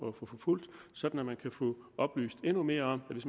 at få forfulgt sådan at man kan få oplyst endnu mere om at hvis